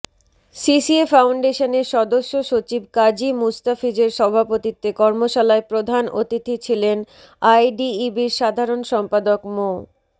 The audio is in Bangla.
সিসিএ ফাউন্ডেশনের সদস্য সচিব কাজী মুস্তাফিজের সভাপতিত্বে কর্মশালায় প্রধান অতিথি ছিলেন আইডিইবির সাধারণ সম্পাদক মো